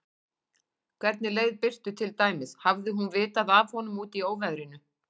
Hvernig leið Birtu til dæmis, hafði hún vitað af honum úti í óveðrinu?